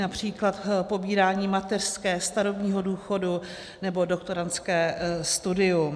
Například pobírání mateřské, starobního důchodu nebo doktorandské studium.